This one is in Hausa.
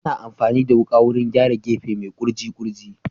Ana amfani da wuka wurin gyara gefe mai kurji kurji